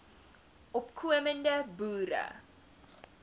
opko mende boere